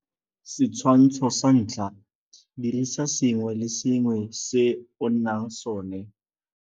Setshwantsho sa 1 - Dirisa sengwe le sengwe se o nang sone.